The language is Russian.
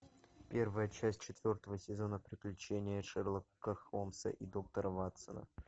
первая часть четвертого сезона приключения шерлока холмса и доктора ватсона